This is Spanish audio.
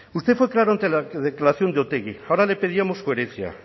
usted fue claro ante la declaración de otegi ahora le pedíamos coherencia